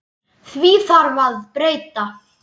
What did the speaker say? Því þarf að breyta!